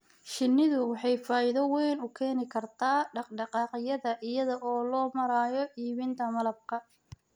Shinnidu waxay faa'iido weyn u keeni kartaa dhaq-dhaqaaqyada iyada oo loo marayo iibinta malabka.